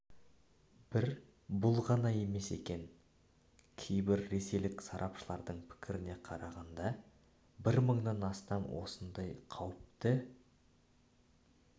бір бұл ғана емес екен кейбір ресейлік сарапшылардың пікіріне қарағанда бір мыңнан аса осындай қауіпті